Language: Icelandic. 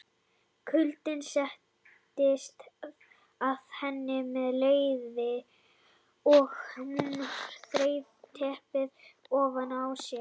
Kuldinn settist að henni um leið og hún þreif teppið ofan af sér.